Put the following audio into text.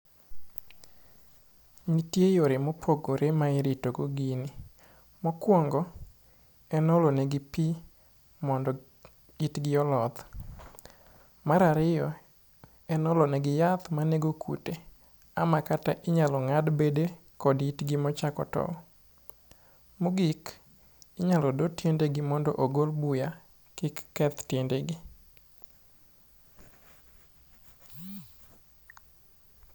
Nitie yore mopogore ma iritogo gini. Mokwongo en olo negi pi mondo itgi oloth. Mar ariyo en olo negi yath manego kute, ama kata inyalo ng'ad bede kod itgi machako tow. Mogik, inyalo do tiendegi mondo ogol buya kik keth tiendegi.